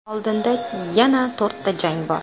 Oldinda yana to‘rtta jang bor.